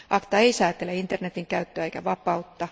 ACTA ei säätele internetin käyttöä eikä vapautta.